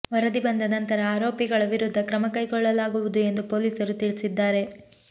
ವರದಿ ಬಂದ ನಂತರ ಆರೋಪಿಗಳ ವಿರುದ್ಧ ಕ್ರಮ ಕೈಗೊಳ್ಳಲಾಗುವುದು ಎಂದು ಪೊಲೀಸರು ತಿಳಿಸಿದ್ದಾರೆ